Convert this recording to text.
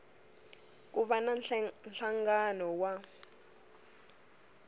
ku va na nhlangano wa